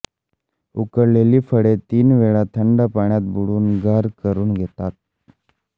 उकळलेली फळे तीन वेळा थंड पाण्यात बुडवून गार करून घेतात